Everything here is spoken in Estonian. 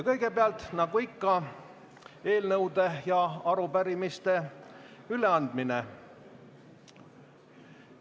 Kõigepealt aga nagu ikka on eelnõude ja arupärimiste üleandmine.